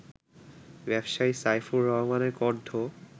ব্যবসায়ী সাইফুর রহমানের কণ্ঠ